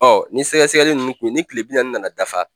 Ɔ ni sɛgɛsɛgɛli nunnu kun ni kile bi naani nana dafa